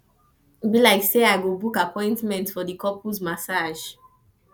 e be like sey i go book appointment for di couples massage